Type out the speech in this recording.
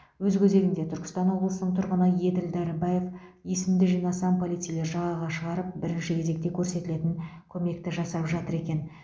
өз кезегінде түркістан облысының тұрғыны еділ дәрібаев есімді жинасам полицейлер жағаға шығарып бірінші кезекте көрсетілетін көмекті жасап жатыр екен